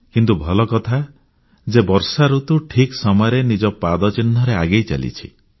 କିନ୍ତୁ ଭଲ କଥା ଯେ ବର୍ଷାଋତୁ ଠିକ୍ ସମୟରେ ନିଜ ପାଦ ଚିହ୍ନ ପକାଇ ଆଗେଇ ଚାଲିଛି